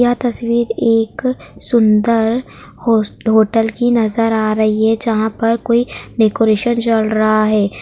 यह तस्वीर एक सुंदर होस होटल की नजर आ रही है जहां पर कोई डेकोरेशन चल रहा है।